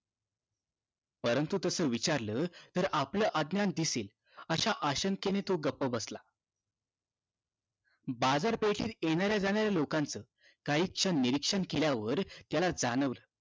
परंतु तसा विचारलं तर आपलं अज्ञान दिसेल आशय आशंकेने तो गप्पा बसला बाजारपेठेत येणाऱ्या जाणाऱ्या लोकांचा काही क्षण निरीक्षण केल्यावर त्याला जाणवलं